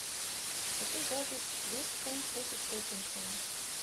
хочу запись вест хэм против тоттенхэм